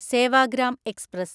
Sevagram express